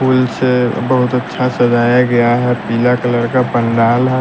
फूल से बहुत अच्छा सजाया गया है पीला कलर का पंडाल है।